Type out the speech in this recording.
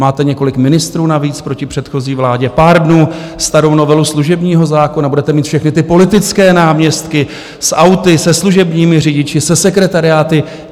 Máte několik ministrů navíc proti předchozí vládě, pár dnů starou novelu služebního zákona, budete mít všechny ty politické náměstky s auty, se služebními řidiči, se sekretariáty.